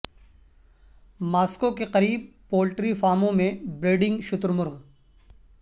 Moscow کے قریب poultry فارموں میں بریڈنگ شتر مرغ